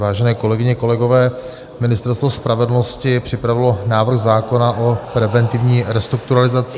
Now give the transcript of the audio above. Vážené kolegyně, kolegové, Ministerstvo spravedlnosti připravilo návrh zákona o preventivní restrukturalizaci...